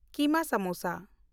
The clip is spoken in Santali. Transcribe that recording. ᱠᱤᱢᱟ ᱥᱟᱢᱳᱥᱟ